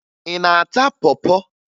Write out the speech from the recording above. Ị na-ata pọ pọ?